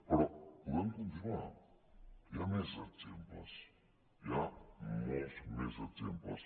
però podem continuar hi ha més exemples hi ha molts més exemples